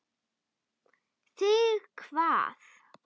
Þig hvað?